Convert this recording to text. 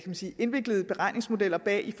man sige indviklede beregningsmodeller bag